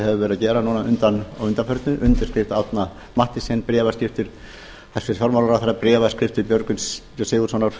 hefur að gera núna að undanförnu undirskrift árna mathiesens bréfaskriftir hæstvirtur fjármálaráðherra bréfaskriftir björgvin g sigurðssonar